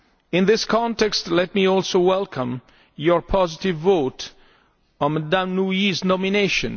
In this context, let me also welcome your positive vote on Ms Nouy's nomination.